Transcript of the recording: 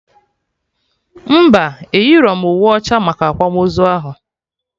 Mba, eyirọm uwe ọcha maka akwamozu ahụ